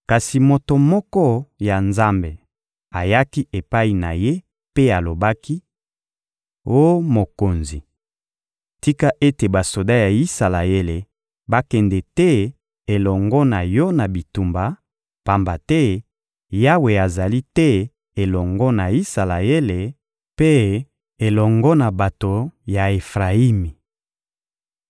Kasi moto moko ya Nzambe ayaki epai na ye mpe alobaki: — Oh mokonzi, tika ete basoda ya Isalaele bakende te elongo na yo na bitumba, pamba te Yawe azali te elongo na Isalaele mpe elongo na bato ya Efrayimi.